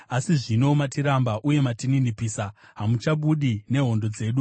Asi zvino matiramba uye matininipisa; hamuchabudi nehondo dzedu.